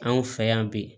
Anw fɛ yan bi